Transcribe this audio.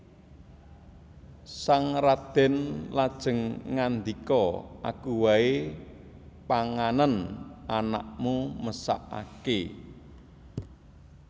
Sang radèn lajeng ngandika Aku waé panganen anakmu mesakaké